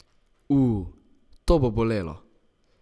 U, to bo bolelo!